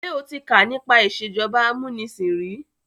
Ṣé o ti ká nípa ìsèjọba amúnisìn rí?